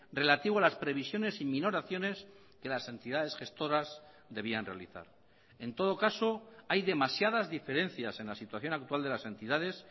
relativo a las previsiones y minoraciones que las entidades gestoras debían realizar en todo caso hay demasiadas diferencias en la situación actual de las entidades